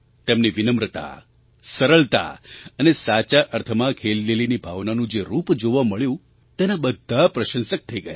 તેમની વિનમ્રતા સરળતા અને સાચા અર્થમાં ખેલદિલીની ભાવનાનું જે રૂપ જોવા મળ્યું તેના બધા પ્રશંસક થઈ ગયા